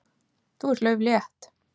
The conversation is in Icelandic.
Þú ert lauflétt.